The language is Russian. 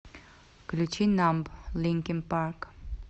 включи намб линкин парк